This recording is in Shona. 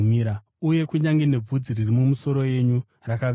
Uye kunyange nebvudzi riri mumusoro yenyu rakaverengwa.